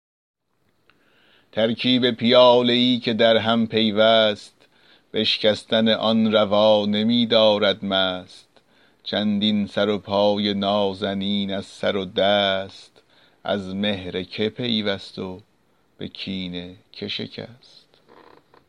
ترکیب پیاله ای که در هم پیوست بشکستن آن روا نمی دارد مست چندین سر و پای نازنین از سر دست از مهر که پیوست و به کین که شکست